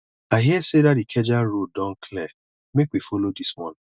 i hear sey dat ikeja road don clear make we follow dis one